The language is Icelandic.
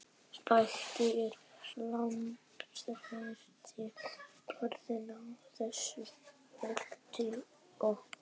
Bændur eru langþreyttir orðnir á þessu brölti okkar.